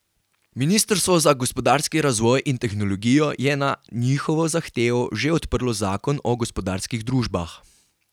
Ministrstvo za gospodarski razvoj in tehnologijo je na njihovo zahtevo že odprlo zakon o gospodarskih družbah.